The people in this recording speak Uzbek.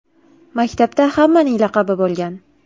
Maktabda hammaning laqabi bo‘lgan.